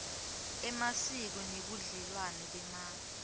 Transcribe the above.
emasiko nebudlelwane bemave